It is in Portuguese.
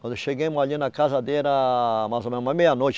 Quando chegamos ali na casa, era mais ou menos meia-noite.